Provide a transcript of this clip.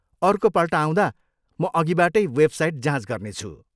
अर्कोपल्ट आउँदा म अघिबाटै वेबसाइट जाँच गर्नेछु।